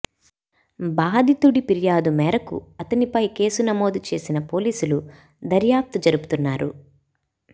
బాధితుడి ఫిర్యాదు మేరకు అతనిపై కేసు నమోదు చేసిన పోలీసులు దర్యాప్తు జరుపుతున్నారు